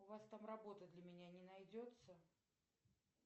у вас там работы для меня не найдется